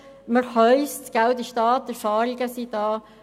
Wir haben die Möglichkeit: das Geld und die Erfahrungen sind vorhanden.